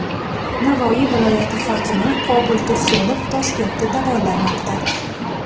Navoiy viloyati hokimi Qobul Tursunov Toshkentda davolanmoqda.